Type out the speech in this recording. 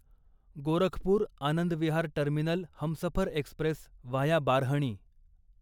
Gorakhpur Anand Vihar terminal Humsafar express via Barhni